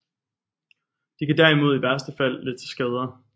De kan derimod i værste fald lede til skader